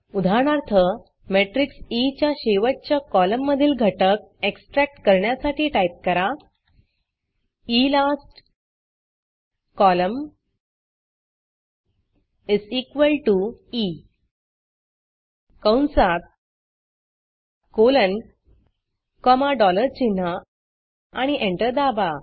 उदाहरणार्थ matrix E च्या शेवटच्या कॉलममधील घटक एक्सट्रॅक्ट करण्यासाठी टाईप करा इलास्ट col ई कंसात कोलन कॉमा डॉलर चिन्ह आणि एंटर दाबा